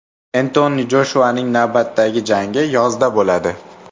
Entoni Joshuaning navbatdagi jangi yozda bo‘ladi.